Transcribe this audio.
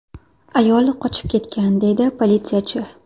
Ayol qochib ketgan”, deydi politsiyachi.